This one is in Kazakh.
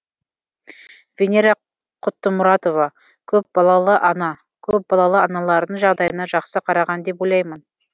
венера құттымұратова көпбалалы ана көпбалалы аналардың жағдайына жақсы қараған деп ойлаймын